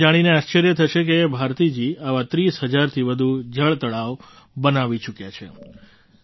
તમને એ જાણીને આશ્ચર્ય થશે કે ભારતીજી આવાં ૩૦ હજારથી વધુ જળતળાવ બનાવી ચૂક્યાં છે